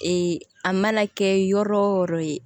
Ee a mana kɛ yɔrɔ o yɔrɔ ye